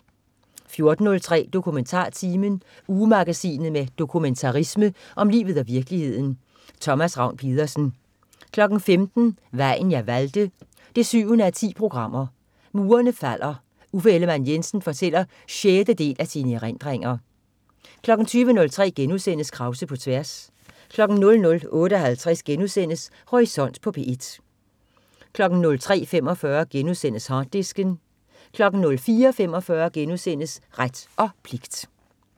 14.03 DokumentarTimen. Ugemagasinet med dokumentarisme om livet og virkeligheden. Thomas Ravn-Pedersen 15.00 Vejen jeg valgte 7:10. Murene falder. Uffe Ellemann-Jensen fortæller sjette del af sine erindringer 20.03 Krause på tværs* 00.58 Horisont på P1* 03.45 Harddisken* 04.45 Ret og pligt*